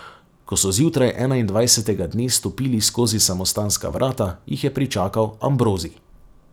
Ko so zjutraj enaindvajsetega dne stopili skozi samostanska vrata, jih je pričakal Ambrozij.